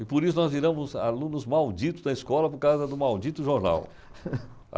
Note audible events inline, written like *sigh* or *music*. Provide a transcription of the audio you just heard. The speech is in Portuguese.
E por isso nós viramos alunos malditos da escola por causa do maldito jornal. *laughs*